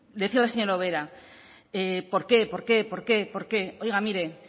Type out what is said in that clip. decirle a la señora ubera por qué por qué por qué por qué oiga mire